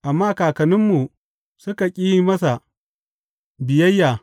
Amma kakanninmu suka ƙi yin masa biyayya.